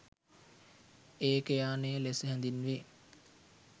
ඒකයානය ලෙස හැඳින්වේ.